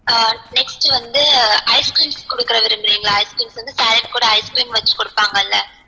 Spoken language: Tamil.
ஆஹ் next வந்து ice creams குடுக்க விரும்புரிங்களா ice creams வந்து salad கூட ice creams வச்சி குடுப்பாங்கள்ள